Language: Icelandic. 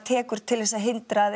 til að hindra að